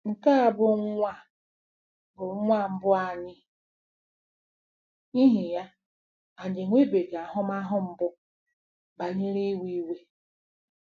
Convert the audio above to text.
Nke a bụ nwa a bụ nwa mbụ anyị, n'ihi ya, anyị enwebeghị ahụmahụ mbụ banyere iwe iwe.